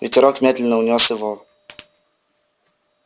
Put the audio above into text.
ветерок медленно унёс его